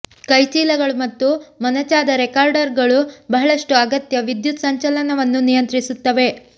ಕೈಚೀಲಗಳು ಮತ್ತು ಮೊನಚಾದ ರೆಕಾರ್ಡರಗಳು ಬಹಳಷ್ಟು ಅಗತ್ಯ ವಿದ್ಯುತ್ ಸಂಚಲನವನ್ನು ನಿಯಂತ್ರಿಸುತ್ತವೆ